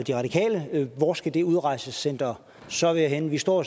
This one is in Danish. de radikale hvor skal det udrejsecenter så være henne vi står